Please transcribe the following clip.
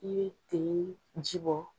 I bɛ ten ji bɔ.